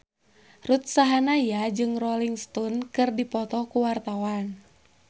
Ruth Sahanaya jeung Rolling Stone keur dipoto ku wartawan